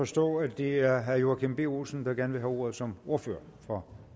forstå at det er herre joachim b olsen der gerne vil have ordet som ordfører for